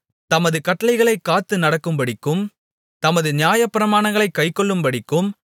தமது கட்டளைகளைக் காத்து நடக்கும்படிக்கும் தமது நியாயப்பிரமாணங்களைக் கைக்கொள்ளும்படிக்கும்